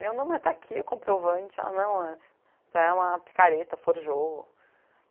Deu não, mas está aqui o comprovante, ela não é, você é uma picareta, forjou.